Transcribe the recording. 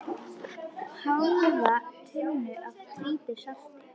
Hálfa tunnu af hvítu salti.